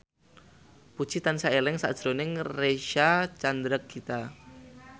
Puji tansah eling sakjroning Reysa Chandragitta